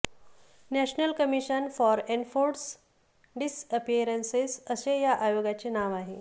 national commission for enforced disappearances असे या आयोगाचे नाव आहे